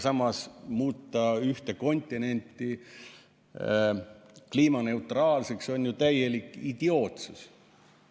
Aga ühte kontinenti kliimaneutraalseks muuta on ju täielik idiootsus.